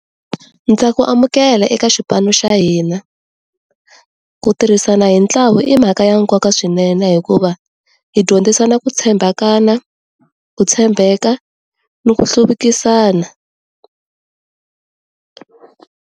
Ndza ku amukela eka xipano xa hina ku tirhisana hi ntlawa i mhaka ya nkoka swinene hikuva hi dyondzisana ku tshembakana, ku tshembeka ni ku hluvukisana.